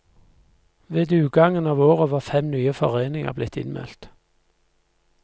Ved utgangen av året var fem nye foreninger blitt innmeldt.